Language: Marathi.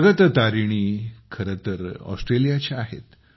जगत तारिणी खरे तर ऑस्ट्रेलियाच्या आहेत